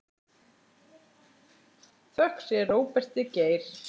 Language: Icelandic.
Þökk sé Róberti Geir.